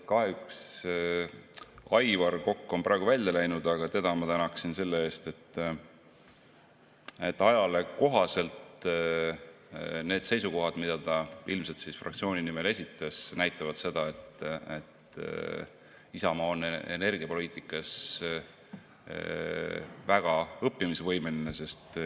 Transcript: Kahjuks Aivar Kokk on praegu välja läinud, aga teda ma tänaksin selle eest, et ajale kohaselt need seisukohad, mida ta ilmselt fraktsiooni nimel esitas, näitavad seda, et Isamaa on energiapoliitikas väga õppimisvõimeline.